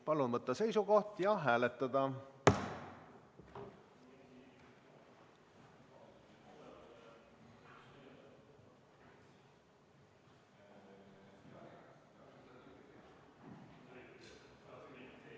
Palun võtta seisukoht ja hääletada!